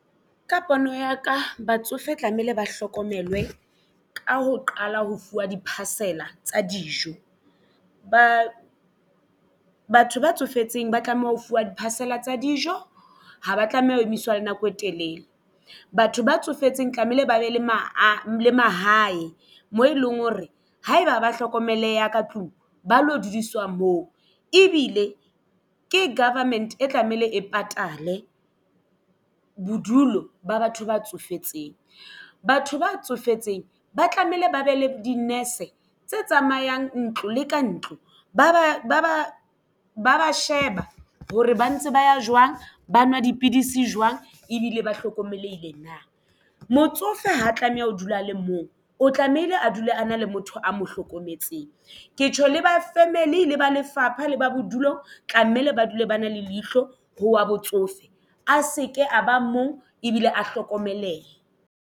Ka pono ya ka batsofe tlamehile ba hlokomelwe ka ho qala ho fuwa di-parcel-a tsa dijo batho ba tsofetseng ba tlameha ho fuwa di-parcel-a tsa dijo haba tlameha ho emiswa nako e telele batho ba tsofetseng tlamehile ba be le mahae mo e leng hore ha eba ha ba hlokomeleha ka tlung ba lo dudiswa moo ebile ke government e tlamehile e patale bodulo ba batho ba tsofetseng. Batho ba tsofetseng ba tlamehile ba be le di-nurse tse tsamayang ntlo le ka ntlo ba sheba hore ba ntse ba ya jwang ba nwa dipidisi jwang ebile ba hlokomelehile na motsofe ha tlameha ho dula a le mong o tlamehile a dule a na le motho a mo hlokometseng ke tjho le ba family le ba lefapha le ba bodulo tlamehile ba dule ba na le leihlo ho wa botsofe a se ke a ba mong ebile a hlokomelehe.